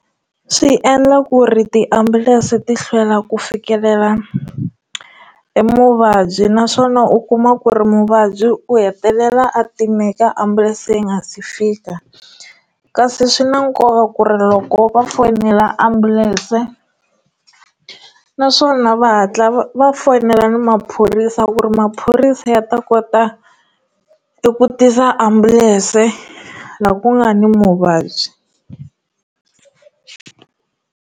Swi endla ku ri tiambulense ti hlwela ku fikelela emuvabyi naswona u kuma ku ri muvabyi u hetelela a timeka ambulense yi nga si fika kasi swi na nkoka ku ri loko va fonela ambulense naswona va hatla va fonela na maphorisa ku ri maphorisa ya ta kota eku tisa ambulense laha ku nga ni muvabyi.